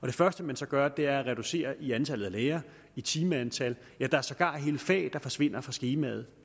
det første man så gør er at reducere i antallet af lærere i timeantallet ja der er sågar hele fag der forsvinder fra skemaet